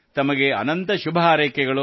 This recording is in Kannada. ತಮಗೆ ಅನಂತ ಶುಭಹಾರೈಕೆಗಳು